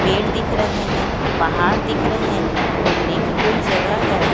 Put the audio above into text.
पेर दिख रहे है पहार दिख रहे है घूमने की कोई जगह है।